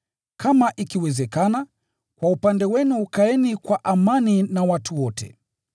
Kama ikiwezekana, kwa upande wenu kaeni kwa amani na watu wote.